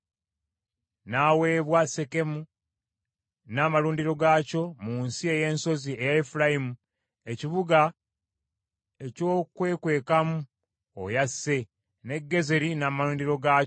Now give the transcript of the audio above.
N’aweebwa Sekemu n’amalundiro gaakyo mu nsi ey’ensozi eya Efulayimu ekibuga eky’okwekwekamu oyo asse, ne Gezeri n’amalundiro gaakyo,